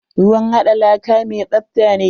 Ruwn haɗa laka mi tsafta ne.